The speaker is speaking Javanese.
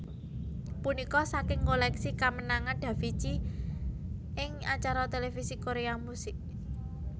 Punika saking koleksi kamenangan Davichi ing acara televisi Korea musik